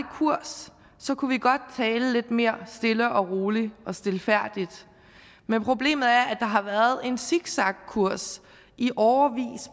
kurs kunne vi godt tale lidt mere stille og roligt og stilfærdigt men problemet er at der har været en zigzagkurs i årevis